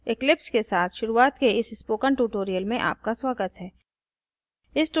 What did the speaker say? eclipse eclipse के साथ शुरूआत के इस spoken tutorial में आपका स्वागत हैं